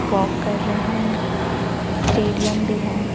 पोक कर रहे हैं स्टेडियम भी है।